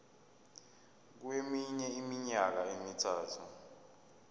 kweminye iminyaka emithathu